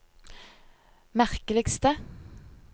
merkeligste